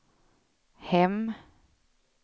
hem